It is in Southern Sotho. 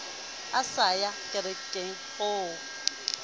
a sa ye kerekeng o